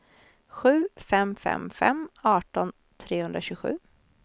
sju fem fem fem arton trehundratjugosju